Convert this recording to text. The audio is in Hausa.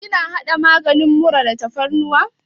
Kina haɗa maganin mura da tafarnuwa?